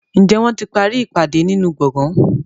Njé wón tí parí ìpàdé nínú gboôgan?